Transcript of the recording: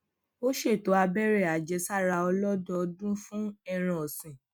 ó ṣètò abere ajesara olodoodun fun ẹran òsìn